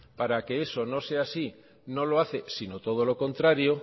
para que eso no sea así no lo hace sino todo lo contrario